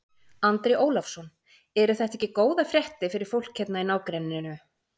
Andri Ólafsson: Eru þetta ekki góðar fréttir fyrir fólk hérna í nágrenninu?